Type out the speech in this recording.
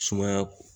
Sumaya